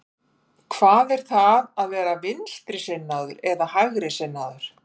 Hvað er það að vera vinstrisinnaður eða hægrisinnaður?